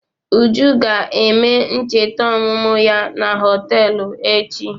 Uju ga-eme ncheta ọmụmụ ya na họtelụ echi.